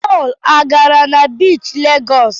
Pọl agara na biichi Legọs?